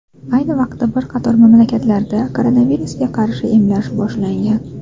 Ayni paytda bir qator mamlakatlarda koronavirusga qarshi emlash boshlangan.